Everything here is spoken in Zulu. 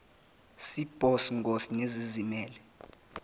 cbos ngos nezizimele